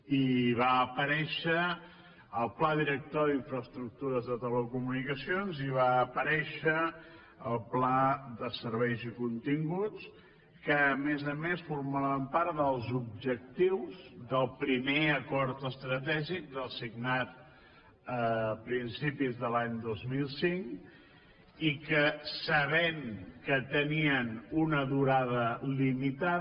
i va aparèixer el pla director d’infraestructures de telecomunicacions i va aparèixer el pla de serveis i continguts que a més a més formaven part dels objectius del primer acord estratègic del signat a principis de l’any dos mil cinc i que sabent que tenien una durada limitada